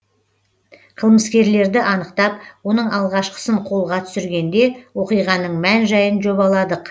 қылмыскерлерді анықтап оның алғашқысын қолға түсіргенде оқиғаның мән жайын жобаладық